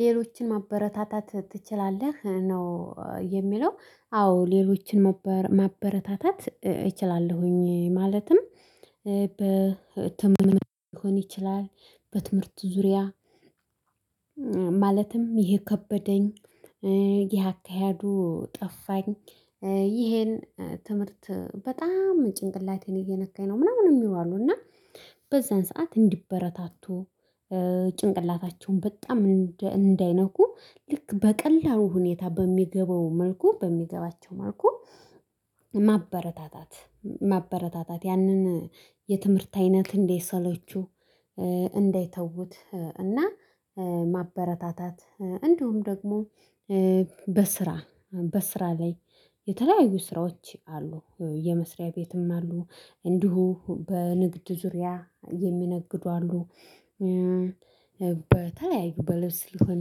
ሌሎችን ማበረታታት ትችላለህ? ነው የሚለው አዎ ሌሎችን ማበረታታት እችላለሁኝ። ማለትም በትምህርት ሊሆን ይችላል በትምህርት ዙሪያ ማለትም ይሄ ከበደኝ። ይሄ አካሄዱ ጠፋኝ። ይሄን ትምህርት በጣም ጭንቅላቴን እየነካኝ ነው ምናምን የሚሉ እና። በዛን ሰዓት እንዲበረታቱ ጭንቅላታቸውን በጣም እንዳይነኩ ልክ በቀላሉ ሁኔታ በሚገባው መልኩ በሚገባቸው መልኩ። ማበረታታት ማበረታታት ያንን የትምህርት አይነት እንዳይሰለቹ። እንዳይተዉት እና ማበረታታት እንዲሁም ደግሞ በስራ በስራ ላይ የተለያዩ ስራዎች አሉ። የመስሪያ ቤትም አሉ። እንዲሁ በንግድ ዙሪያ የሚነግዱ አሉ። በተለያዩ በለስ ሊሆን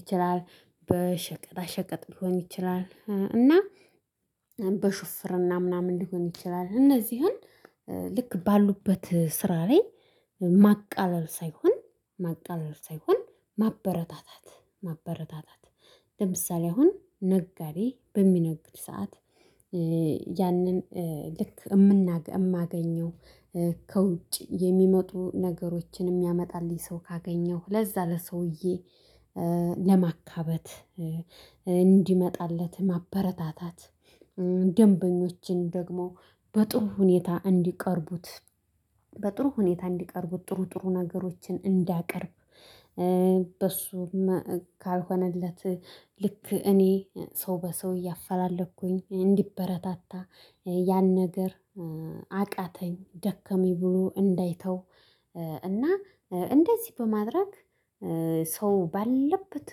ይችላል በሸቀጣ ሸቀጥ ሊሆን ይችላል። እና በሹፍርና ምናምን ሊሆን ይችላል። እነዚህን ልክ ባሉበት ስራ ላይ ማቃለል ሳይሆን ማቃለል ሳይሆን ማበረታታት ማበረታታት። ለምሳሌ አሁን ነጋዴ በሚነግድ ሰዓት። ያንን ልክ እማገኘው ከውጭ የሚመጡ ነገሮችን ሚያመጣልኝ ሰው ካገኘሁ ለዛ ለሰውዬ ለማካበት እንዲመጣለት ማበረታታት። ደንበኞችን ደግሞ በጥሩ ሁኔታ እንዲቀርቡት በጥሩ ሁኔታ እንዲቀርቡት ጥሩ ጥሩ ነገሮችን እንዳቀርብ። በሱ ካልሆነለት ልክ እኔ ሰው በሰው እያፈላለቅኩኝ እንዲበረታታ ያን ነገር አቃተኝ ደከመኝ ብሎ እንዳይተው። እና እንደዚህ በማድረግ ሰው ባለበት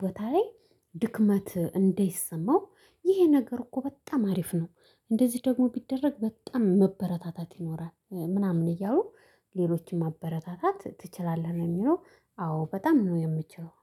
ቦታ ላይ ድክመት እንደይሰማው። ይሄ ነገር እኮ በጣም አሪፍ ነው። እንደዚህ ደግሞ ቢደረግ በጣም መበረታታት ይኖራል ምናምን እያሉ። ሌሎችን ማበረታታት ትችላለህ የሚለው? አዎ በጣም ነው የምችለው